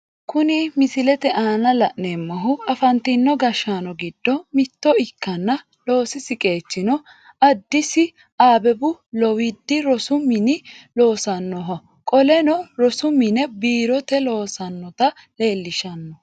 Kunni misilete aanna la'neemohu afantino gashaano gido mitto ikkanna loosisi qeechino adisi abebubu lowiidi rosu mine loosanoho qoleno rosu mine biirote loossanota leelishano.